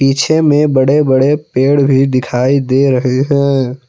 पीछे मे बड़े बड़े पेड़ भी दिखाई दे रहे है।